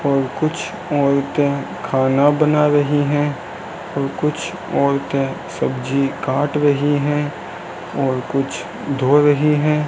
और कुछ औरतें खाना बना रही है और कुछ औरतें सब्जी काट रही है और कुछ धो रही है।